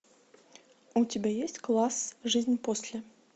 у тебя есть класс жизнь после